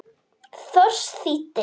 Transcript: Thors þýddi.